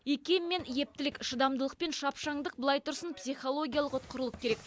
икем мен ептілік шыдамдылық пен шапшаңдық былай тұрсын психологиялық ұтқырлық керек